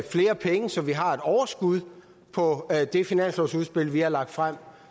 flere penge så vi har et overskud på det finanslovsudspil vi har lagt frem